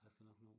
A skal nok nå det